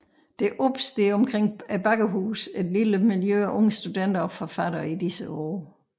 Der opstår omkring Bakkehuset et lille miljø af unge studenter og forfattere i disse år